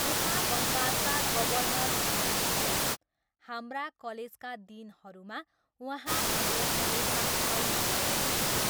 उहाँ बङ्गालका गवर्नर हुनुहुन्थ्यो, हाम्रा कलेजका दिनहरूमा उहाँ हाम्रो कलेजमा आउनुभएको थियो।